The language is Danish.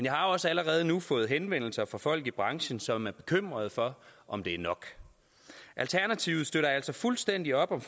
har også allerede nu fået henvendelser fra folk i branchen som er bekymret for om det er nok alternativet støtter altså fuldstændig op om